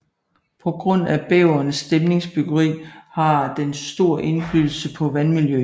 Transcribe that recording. På grund af bæverens dæmningsbyggeri har den stor indflydelse på vandmiljøet